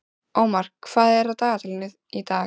Ómar, hvað er á dagatalinu í dag?